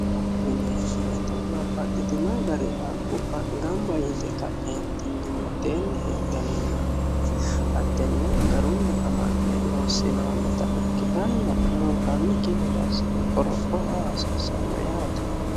babbaxxitino gari haqqubba gamba yite ka'yeentinni mitteenni heedhannonna hattenne garunni amande loossinoonnita ikkitanna murranniki gede aassine qoropho aa hasiissanno yaate